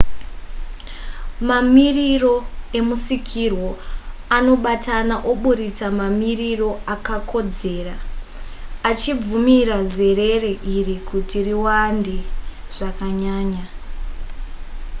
mamiriro emusikirwo anobatana oburitsa mamiriro akakodzera achibvumira zerere iri kuti riwande zvakanyanya